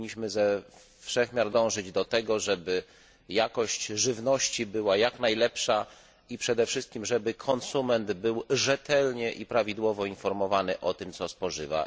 Powinniśmy ze wszech miar dążyć do tego, żeby jakość żywności była jak najlepsza i przede wszystkim, żeby konsument był rzetelnie i prawidłowo informowany o tym, co spożywa.